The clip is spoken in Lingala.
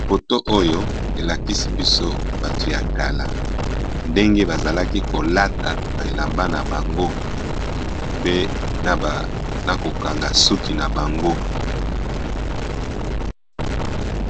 Foto oyo elakisi biso bato ya kala ndenge bazalaki kolata ba elamba na bango pe na kokanga suki na bango.